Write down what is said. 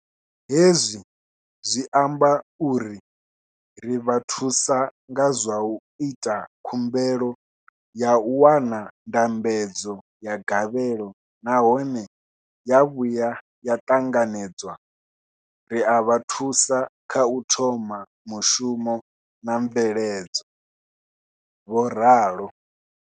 Hezwi zwi amba uri ri vha thusa nga zwa u ita khumbelo ya u wana ndambedzo ya gavhelo nahone ya vhuya ya ṱanganedzwa, ri a vha thusa kha u thoma mushumo na mveledzo, vho ralo.